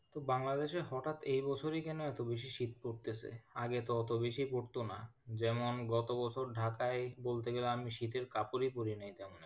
কিন্তু বাংলাদেশে হঠাৎ এ বছরই কেন এতো বেশি শীত পড়তেছে? আগে তো অতো বেশি পড়তো না, যেমন গত বছর ঢাকাই বলতে গেলে আমি শীতের কাপড়ই পড়িনি তেমন।